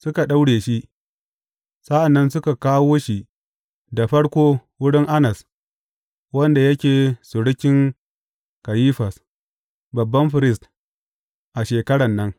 Suka daure shi sa’an nan suka kawo shi da farko wurin Annas, wanda yake surukin Kayifas, babban firist a shekaran nan.